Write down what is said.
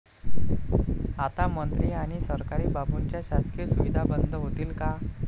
आता मंत्री आणि सरकारी बाबूंच्या शासकीय सुविधा बंद होतील का?